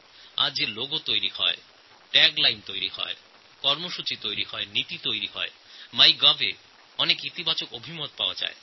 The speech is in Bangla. আজ যে লোগো তৈরি হচ্ছে ট্যাগ লাইন তৈরি হচ্ছে পরিকল্পনা তৈরি হচ্ছে নীতি তৈরি করা হচ্ছে মাইগভ পোর্টালে এই সবকিছু ব্যাপারে সদর্থক মতামত আসছে